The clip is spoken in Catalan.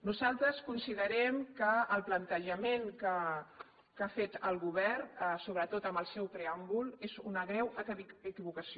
nosaltres considerem que el plantejament que ha fet el govern sobretot en el seu preàmbul és una greu equivocació